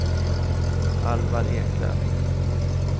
Alvar Eklöf